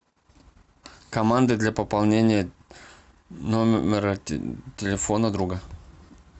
команда для пополнения номера телефона друга